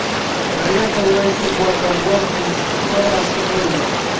проверка восемь мотоботы в словах шифрует